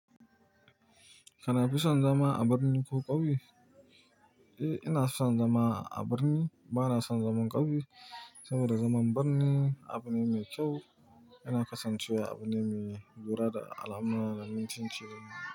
Kana fisan zama a birni ko ƙauye? Eh ina son zama a birni ba na son zaman ƙauye saboda zaman birni abu ne mai kyau, yana kasancewa abu ne mai lura da al'amura da mutunci.